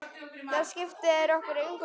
Það skiptir okkur engu máli.